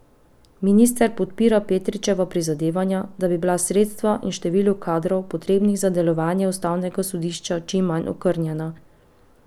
Minister podpira Petričeva prizadevanja, da bi bila sredstva in število kadrov, potrebnih za delovanje ustavnega sodišča, čim manj okrnjena.